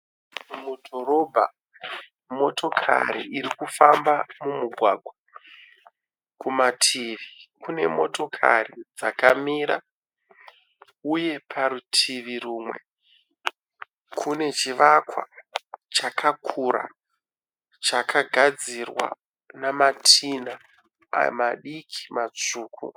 Mudhorobha motokari irikufamba mumugwagwa. Kumativi kune motokari dzakamira uye parutivi rumwe kune chivakwa chakakura chakagadzirwa namatina ari madiki matsvuku.